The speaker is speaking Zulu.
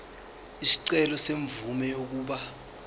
isicelo semvume yokuba